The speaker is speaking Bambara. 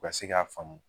U ka se k'a faamu